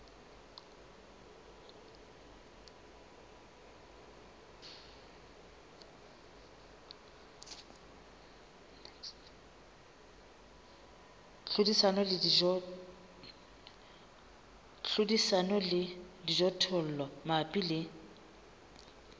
hlodisana le dijothollo mabapi le